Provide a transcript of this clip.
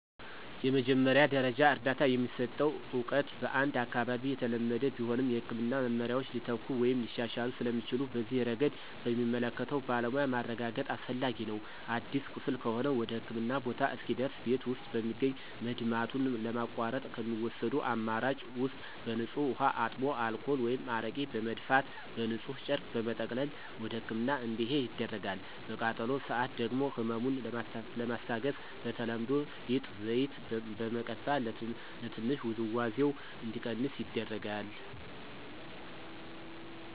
የመጀመሪያ ደረጃ እርዳታ የሚሰጠው እውቀት በአንድ አካባቢ የተለመደ ቢሆንም፣ የሕክምና መመሪያዎች ሊተኩ ወይም ሊሻሻሉ ስለሚችሉ በዚህ ረገድ በሚመለከተው ባለሙያ ማረጋገጥ አስፈላጊ ነው። አዲስ ቁስል ከሆነ ወደህክምና ቦታ እስኪደርስ ቤት ውስጥ በሚገኝ መድማቱን ለማቋረጥ ከሚወሰዱ አማራጭ ውስጥ በንፁህ ውሃ አጥቦ አልኮል ወይም አረቄ በመድፋት በንፁህ ጨርቅ በመጠቅለል ወደህክምና እንዲሄድ ይደረጋል። በቃጠሎ ሰአት ደግሞ ህመሙን ለማስታገስ በተለምዶ ሊጥ፣ ዘይት በመቀባት ትንሽ ውዝዋዜው እንዲቀንስ ይደረጋል።